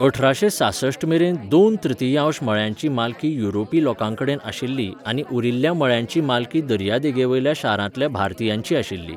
अठराशें सासष्ठ मेरेन दोन तृतियांश मळ्यांची मालकी युरोपी लोकांकडेन आशिल्ली आनी उरिल्ल्या मळ्यांची मालकी दर्यादेगेवयल्या शारांतल्या भारतीयांची आशिल्ली.